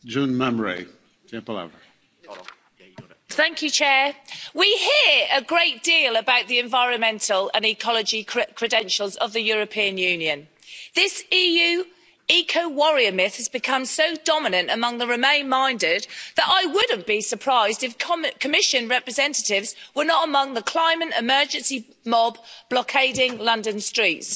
Mr President, we hear a great deal about the environmental and ecology credentials of the European Union. This EU ecowarrior myth has become so dominant among the remain minded that I wouldn't be surprised if Commission representatives were not among the climate emergency mob blockading London streets.